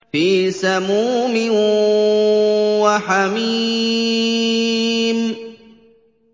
فِي سَمُومٍ وَحَمِيمٍ